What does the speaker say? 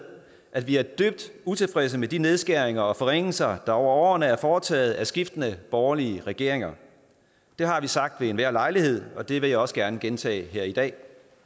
at vi er dybt utilfredse med de nedskæringer og forringelser der over årene er foretaget af skiftende borgerlige regeringer det har vi sagt ved enhver lejlighed og det vil jeg også gerne gentage her i dag